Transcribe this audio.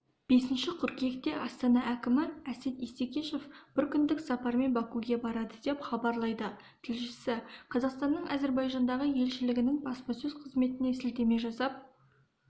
бесінші қыркүйекте астана әкімі әсет исекешев бір күндік сапармен бакуге барады деп хабарлайды тілшісі қазақстанның әзербайжандағы елшілігінің баспасөз қызметіне сілтеме жасап